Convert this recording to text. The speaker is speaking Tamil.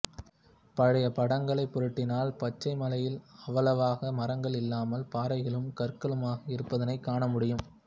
பழைய படங்களை புரட்டினால் பச்சைமலையில் அவ்வளவாக மரங்கள் இல்லாமல் பாறைகளும் கற்களுமாக இருப்பதையே காண முடியும்